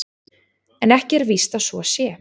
En ekki er víst að svo sé.